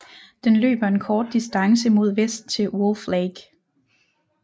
Den løber en kort distance mod vest til Wolf Lake